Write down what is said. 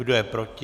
Kdo je proti?